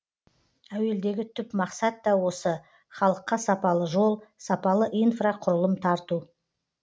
әуелдегі түп мақсат та осы халыққа сапалы жол сапалы инфрақұрылым тарту